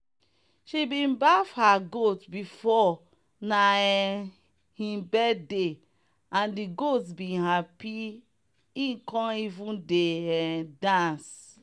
she bin baff her goat because na um him birthday and the goat bin happy e come even dey um dance.